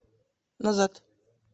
назад